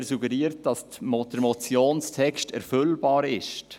Er suggeriert, dass der Motionstext erfüllbar sei.